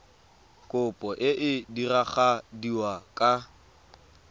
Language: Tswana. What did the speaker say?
kopo e e diragadiwa ka